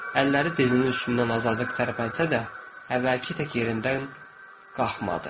Əlləri dizinin üstündən azacıq tərpənsə də, əvvəlki tək yerindən qalxmadı.